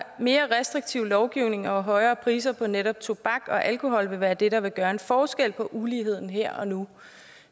mere restriktiv lovgivning og højere priser på netop tobak og alkohol vil være det der vil gøre en forskel på uligheden her og nu